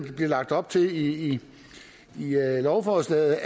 bliver lagt op til i lovforslaget